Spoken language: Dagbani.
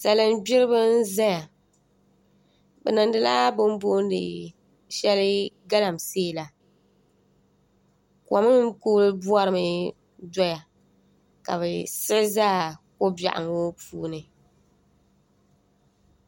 salin'gbiribi n-zaya bɛ niŋdila bɛ ni booni shɛli galamsee la kom n-kuli bɔrimi doya ka bɛ siɣi za ko'b́iɛɣu ŋɔ puuni